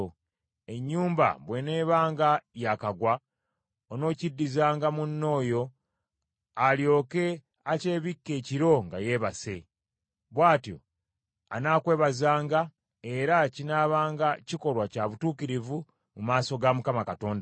Enjuba bw’eneebanga yaakagwa, onookiddizanga munno oyo alyoke akyebikke ekiro nga yeebase. Bw’atyo anaakwebazanga era kinaabanga kikolwa kya butuukirivu mu maaso ga Mukama Katonda wo.